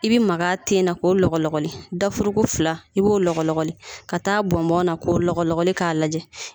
I bɛ maga a ten na ko lɔgɔlɔgɔli dafurugu fila i b'o lɔgɔlɔgɔli ka taa bɔnbɔn na k'o lɔgɔlɔgɔli k'a lajɛ